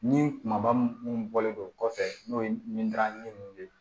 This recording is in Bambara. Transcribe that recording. Ni kumaba minnu bɔlen don kɔfɛ n'o ye nin garanti ninnu de ye